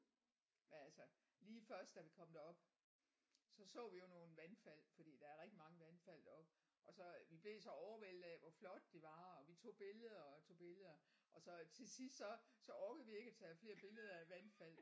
Men altså lige først da vi kom derop så så vi jo nogle vandfald fordi der er rigtig mange vandfald deroppe og så vi blev så overvældet af var flotte de var og vi tog billeder og tog billeder og så til sidst så så orkede vi ikke at tage flere billeder af vandfald